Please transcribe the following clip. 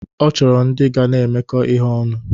Ọ chọrọ ndị ga na-emekọ ihe ọnụ.